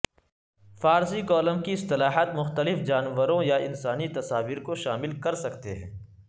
فارسی کالم کی اصلاحات مختلف جانوروں یا انسانی تصاویر کو شامل کر سکتے ہیں